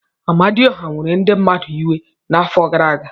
Amadioha were ndị mmadụ iwe n'afọ gara aga.